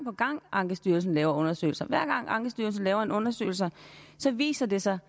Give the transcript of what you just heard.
ankestyrelsen laver undersøgelser hver gang ankestyrelsen laver en undersøgelse viser det sig